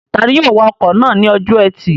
Tani yóò wa ọkọ̀ náà ní ọjọ́ ẹtì?